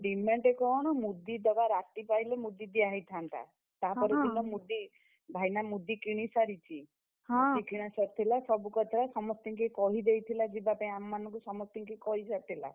demand କଣ? ମୁଦି ଦବା ରାତି ପାହିଲେ ମୁଦି ଦିଆ ହେଇଥାନ୍ତା। ତା ପର ଦିନ ମୁଦି, ଭାଇନା ମୁଦି କିଣି ସାରିଛି। ମୁଦି କିଣା ସରିଥିଲା, ସବୁ କରିଥିଲା, ସମସ୍ତିଙ୍କି କହିଦେଇଥିଲା ଯିବା ପାଇଁ ଆମମାନଙ୍କୁ ସମସ୍ତିଙ୍କି କହି ସାରିଥିଲା।